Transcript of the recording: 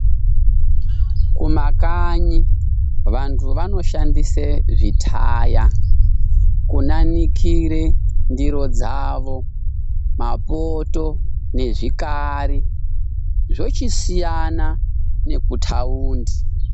Kumakanyi vandu vanoshandise zvitaya kunanikire ndiri dzavo mapoto nezvikari zvochisiyana nekutaundi.